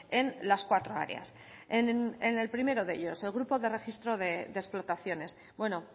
en las cuatro áreas en el primero de ellos el grupo de registro de explotaciones bueno